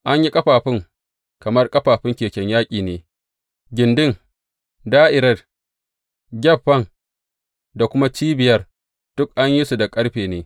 An yi ƙafafun kamar ƙafafun keken yaƙi ne; gindin, da’irar, gyaffan da kuma cibiyar duk an yi su da ƙarfe ne.